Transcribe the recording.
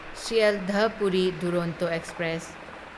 Sealdah Puri Duronto express